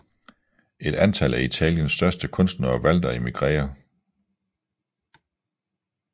Et antal af Italiens største kunstnere valgte at emigrere